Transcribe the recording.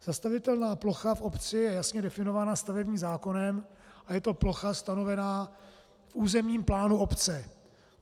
Zastavitelná plocha v obci je jasně definována stavebním zákonem a je to plocha stanovená v územním plánu obce.